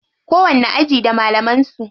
Kowanni aji da malaman su.